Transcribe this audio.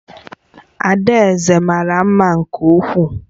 Adaeze mara mma nke ukwuu